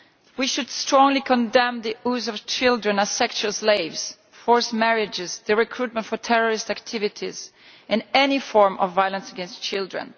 We should strongly condemn the use of children as sexual slaves, forced marriages, recruitment for terrorist activities and any form of violence against children.